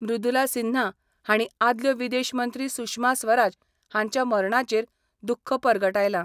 मृदुला सिन्हा हांणी आदल्यो विदेश मंत्री सुषमा स्वराज हांच्या मरणाचेर दुख्ख परगटायलां.